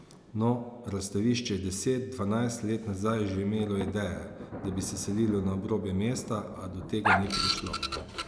No, Razstavišče je deset, dvanajst let nazaj že imelo ideje, da bi se selilo na obrobje mesta, a do tega ni prišlo.